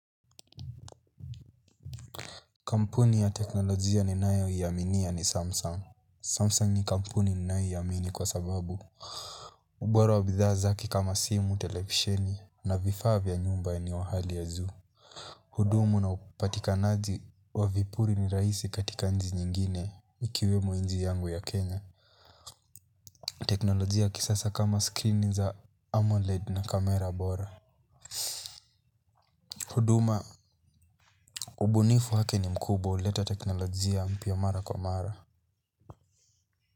Kampuni ya teknolojia ninayo iaminia ni Samsung Samsung ni kampuni ninayo iamini kwa sababu ubora wa bidhaa zake kama simu, televisheni na vifaa vya nyumba ni wahali ya zoo. Hudumu na upatikanaji wa vipuri ni raisi katika nji nyingine ikiwemo nji yangu ya Kenya. Teknolojia ya kisasa kama screen za AMOLED na kamera bora. Huduma, ubunifu wake ni mkubwa uleta teknolojia mpya mara kwa mara.